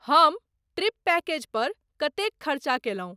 हम trip package पर कतेक खर्चा कयलहुँ?